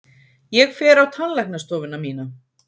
Ég fer á tannlæknastofuna mína!